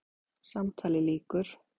Símtali lýkur.